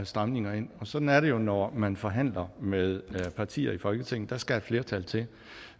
stramninger ind og sådan er det jo når man forhandler med partier i folketinget der skal et flertal til